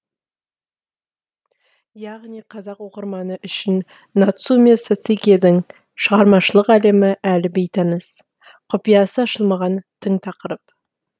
яғни қазақ оқырманы үшін нацумэ сосэкидің шығармашылық әлемі әлі бейтаныс құпиясы ашылмаған тың тақырып